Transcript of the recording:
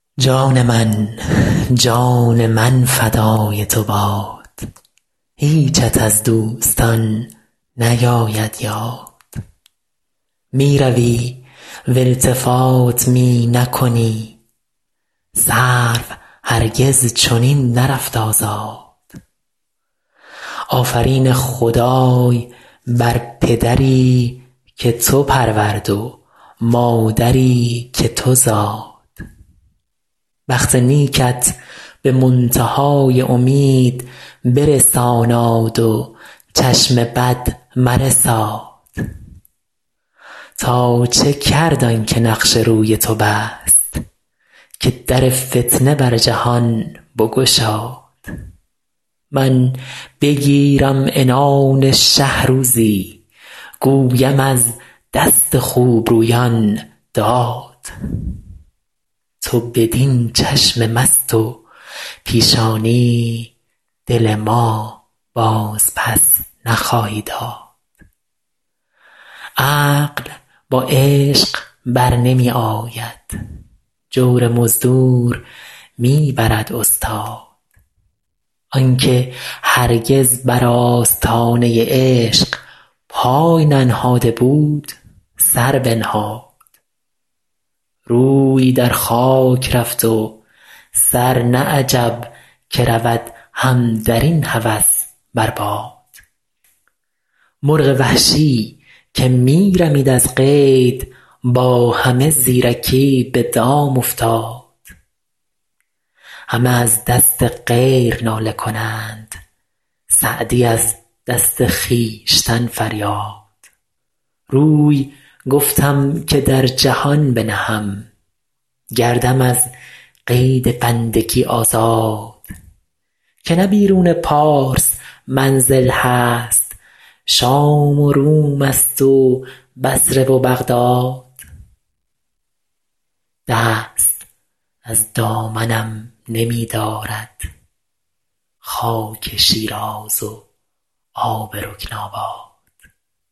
جان من جان من فدای تو باد هیچت از دوستان نیاید یاد می روی و التفات می نکنی سرو هرگز چنین نرفت آزاد آفرین خدای بر پدری که تو پرورد و مادری که تو زاد بخت نیکت به منتها ی امید برساناد و چشم بد مرساد تا چه کرد آن که نقش روی تو بست که در فتنه بر جهان بگشاد من بگیرم عنان شه روزی گویم از دست خوبرویان داد تو بدین چشم مست و پیشانی دل ما بازپس نخواهی داد عقل با عشق بر نمی آید جور مزدور می برد استاد آن که هرگز بر آستانه عشق پای ننهاده بود سر بنهاد روی در خاک رفت و سر نه عجب که رود هم در این هوس بر باد مرغ وحشی که می رمید از قید با همه زیرکی به دام افتاد همه از دست غیر ناله کنند سعدی از دست خویشتن فریاد روی گفتم که در جهان بنهم گردم از قید بندگی آزاد که نه بیرون پارس منزل هست شام و روم ست و بصره و بغداد دست از دامنم نمی دارد خاک شیراز و آب رکن آباد